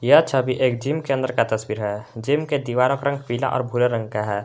यह छबि एक जिम के अंदर का तस्वीर है जिम के दीवारों का रंग पीला और भूरा रंग का है।